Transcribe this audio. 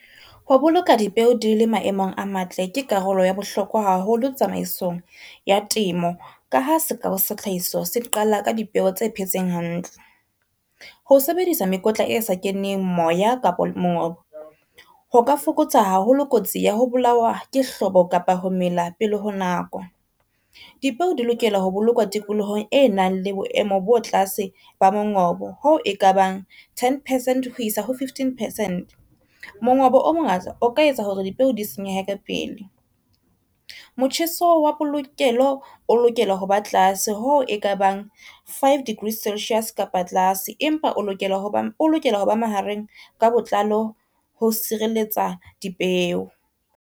Ho boloka dipeo di le maemong a matle ke karolo ya bohlokwa haholo tsamaisong ya temo. Ka ha sekao sathlahiso se qala ka dipeo tse phetseng hantle. Ho sebedisa mekotla e sa keneng moya kapa mongobo, ho ka fokotsa haholo kotsi ya ho bolawa ke hlobo kapa ho mela pele ho nako. Dipeo di lokela ho bolokwa tikolohong e nang le boemo bo tlase ba mongobo, hoo e kabang ten percent ho isa ho fifteen percent. Mongobo o mongata o ka etsa hore dipeo di senyeha ka pele. Motjheso wa polokelo o lokela ho ba tlase ho e ka bang five degrees Celsius kapa tlase, empa o lokela ho ba mahareng ka botlalo ho sireletsa dipeo.